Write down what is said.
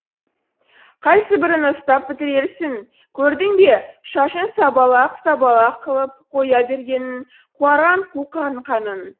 қайсыбірін ұстап бітірерсің көрдің бе шашын сабалақ сабалақ қылып қоя бергенін қуарған қу қаңқаның